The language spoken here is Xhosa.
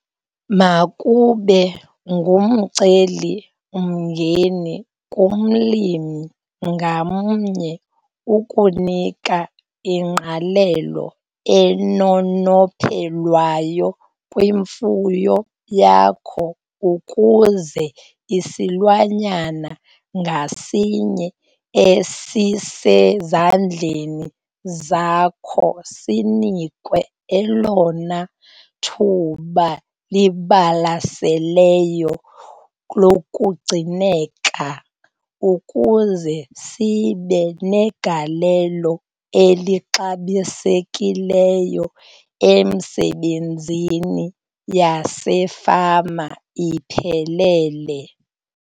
Makube ngumcelimngeni kumlimi ngamnye ukunika ingqalelo enonophelwayo kwimfuyo yakho ukuze isilwanyana ngasinye esisezandleni zakho sinikwe elona thuba libalaseleyo lokugcineka ukuze sibe negalelo elixabisekileyo emisebenzini yasefama iphelele.